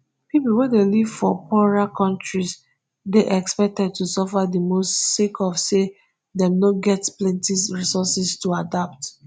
pipo wey dey live for poorer kontris dey expected to suffer di most sake of say dem no get plenti resources to adapt